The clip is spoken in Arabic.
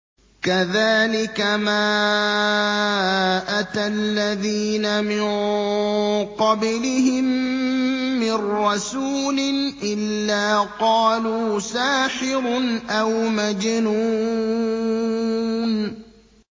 كَذَٰلِكَ مَا أَتَى الَّذِينَ مِن قَبْلِهِم مِّن رَّسُولٍ إِلَّا قَالُوا سَاحِرٌ أَوْ مَجْنُونٌ